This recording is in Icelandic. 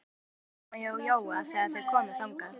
Það var enginn heima hjá Jóa þegar þeir komu þangað.